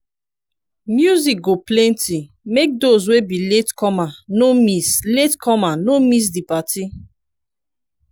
music go continue make dose wey be latecomer no miss latecomer no miss di party